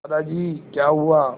दादाजी क्या हुआ